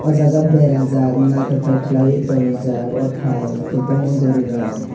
jaga berajak naitotok kelai oe tangrijak o tai kobangma gori rok.